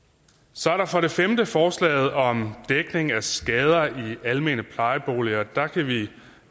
så er der for det femte forslaget om dækning af skader i almene plejeboliger der kan vi